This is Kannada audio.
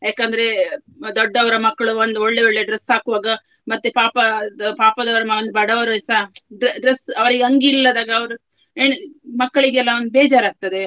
ಯಾಕಂದ್ರೆ ದೊಡ್ಡವರ ಮಕ್ಕಳು ಒಂದು ಒಳ್ಳೆ ಒಳ್ಳೆ dress ಹಾಕುವಾಗ ಮತ್ತೆ ಪಾಪದ ಪಾಪದವರನ್ನು ಮತ್ತೆ ಬಡವರುಸ dre~ dress ಅವರಿಗೆ ಅಂಗಿ ಇಲ್ಲದಾಗ ಅವರು ಎಣಿ~ ಮಕ್ಕಳಿಗೆಲ್ಲಾ ಒಂದು ಬೇಜಾರು ಆಗ್ತದೆ.